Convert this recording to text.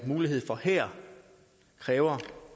mulighed for her kræver